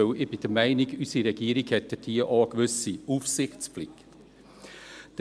Denn ich bin der Meinung, dass unsere Regierung dort eine gewisse Aufsichtspflicht hat.